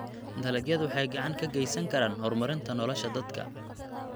Dalagyadu waxay gacan ka geysan karaan horumarinta nolosha dadka.